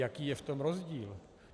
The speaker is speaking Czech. Jaký je v tom rozdíl?